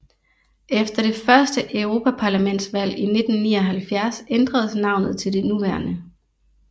Efter det første europaparlamentsvalg i 1979 ændredes navnet til det nuværende